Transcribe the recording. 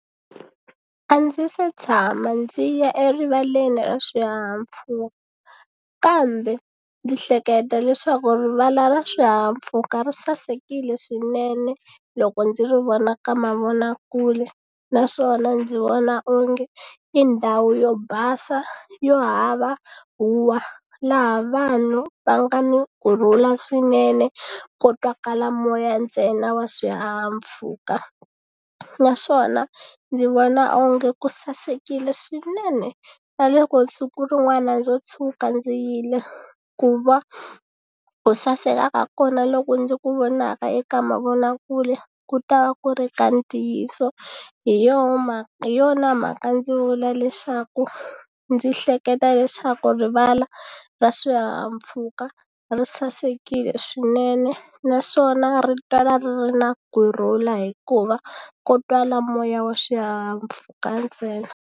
A ndzi se tshama ndzi ya erivaleni ra swihahampfhuka kambe ndzi hleketa leswaku rivala ra swihahampfhuka ri sasekile swinene loko ndzi ri vona ka mavonakule naswona ndzi vona onge i ndhawu yo basa yo hava huwa laha vanhu va nga ni kurhula swinene ko twakala moya ntsena wa swihahampfhuka naswona ndzi vona onge ku sasekile swinene na loko siku rin'wana ndzo tshuka ndzi yile ku va ku sasekaka kona loko ndzi ku vonaka eka mavonakule ku ta va ku ri ka ntiyiso hi yoho mhaka hi yona mhaka ndzi vula leswaku ndzi hleketa leswaku rivala ra swihahampfhuka ri sasekile swinene naswona ri twala ri ri na kurhula hikuva ko twala moya wa xihahampfhuka ntsena.